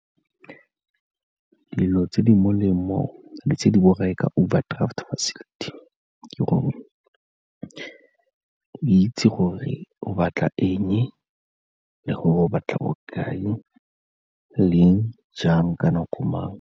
Dilo tse di molemo le tse di borai ka overdraft facility ke gore o itse gore o batla eng le gore o batla bokae leng, jang ka nako mang.